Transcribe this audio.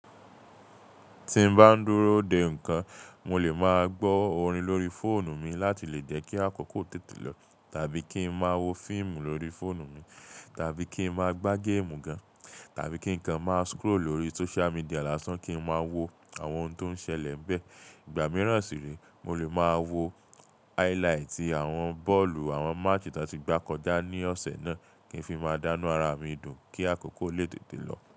Tí n bá ń dúró dè nǹkan, mo lè máa gbọ́ orin lórí fóònù mi láti lè jẹ́ kí àkókò tètè lọ, tàbí kí n máa wo fíìmù lórí fóònù mi, tàbí kí n máa gbá géèmù gan, tàbí kí nǹkan máa scroll lórí social media lásán kí n máa wo àwọn ohun tó ń ṣẹlẹ̀ n bẹ́ẹ̀. Ìgbà mìíràn sì rẹ̀, mo lè máa wo highlighti àwọn bọ́ọ̀lù àwọn match tí wọ́n ti gbá kọjá ní ọ̀sẹ̀ náà kí n fi máa dá nu ara mi dùn kí àkókò lè tètè lọ.